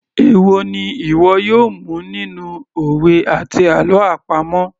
Èwo ni ìwọ yóò mu nínú òwe àti àlọ́ àpamọ̀